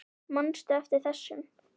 Manstu eftir þessum?